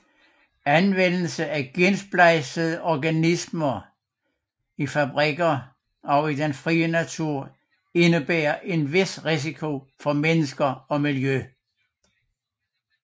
Anvendelse af gensplejsede organismer i fabrikker og i den fri natur indebærer en vis risiko for mennesker og miljø